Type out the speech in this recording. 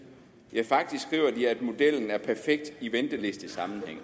ja faktisk skriver de at modellen er perfekt i ventelistesammenhæng